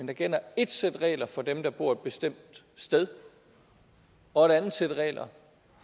der gælder ét sæt regler for dem der bor et bestemt sted og et andet sæt regler